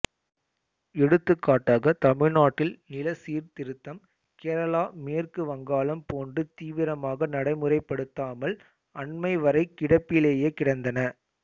எடுத்துக்காட்டாக தமிழ்நாட்டில் நிலச்சீர்திருத்தம் கேரளா மேற்கு வங்காளம் போன்று தீவரமாக நடைமுறைப்படுத்தாமல் அண்மை வரை கிடப்பிலேயே கிடந்தன